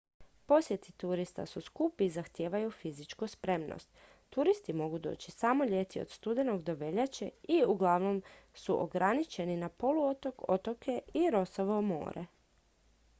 posjeti turista su skupi i zahtijevaju fizičku spremnost turisti mogu doći samo ljeti od studenog do veljače i uglavnom su ograničeni na poluotok otoke i rossovo more